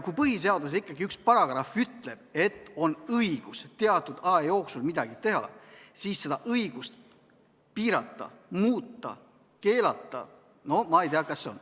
Kui põhiseaduses ikkagi üks paragrahv ütleb, et on õigus teatud aja jooksul midagi teha, siis seda piirata, muuta, keelata – ma ei tea, kas seda õigust on.